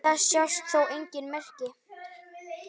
Þess sjást þó engin merki.